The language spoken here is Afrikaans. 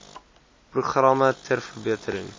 programme ter verbetering